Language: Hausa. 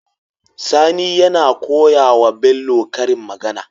Sani yAna koyawa Bello karin magAna